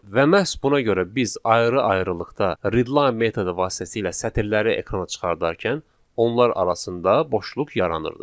Və məhz buna görə biz ayrı-ayrılıqda readline metodu vasitəsilə sətirləri ekrana çıxardarkən onlar arasında boşluq yaranırdı.